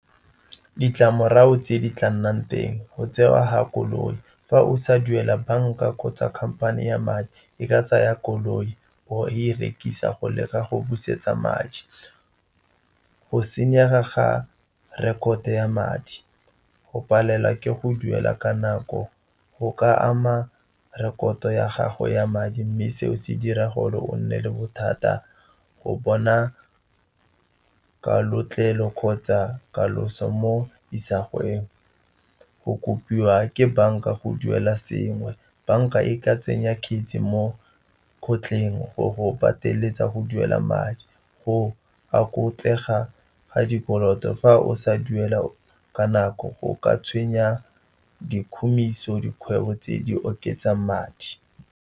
Ditlamorago tse di tla nnang teng, go tsewa ga koloi, fa o sa duela banka, kgotsa khamphane ya madi e ka tsaya koloi go e rekisa go leka go busetsa madi. Go senyega ga rekoto ya madi, go palelwa ke go duela ka nako go ka ama rekoto ya gago ya madi, mme seo se dira gore o nne le bothata go bona kalotlelo kgotsa katoloso mo isagweng. Go kopiwa ke banka go duela sengwe, banka e ka tsenya kheisi mo kgotleng go go pateletsa go duela madi. Go oketsega ga dikoloto fa o sa duela ka nako go ka tshwenya dikhumiso, dikgwebo tse di oketsang madi.